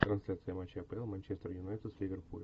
трансляция матча апл манчестер юнайтед с ливерпулем